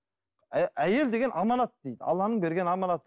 әйел деген аманат дейді алланың берген аманаты